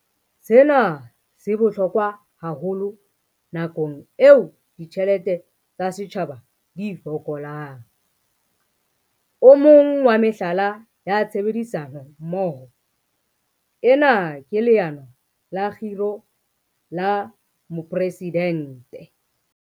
Sena se bohlokwa haholo nakong eo ditjhelete tsa setjhaba di fokolang. O mong wa mehlala ya tshebedisano mmoho ena ke Leano la Kgiro la Mopresi-dente.